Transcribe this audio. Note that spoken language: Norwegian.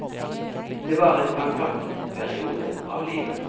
Det var en fantastisk periode av livet.